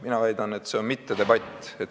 Mina väidan, et see on mittedebatt.